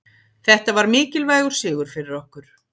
Þetta var mikilvægur sigur fyrir okkur